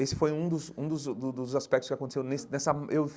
Esse foi um dos um dos do dos aspectos que aconteceu nesse nessa hum eu.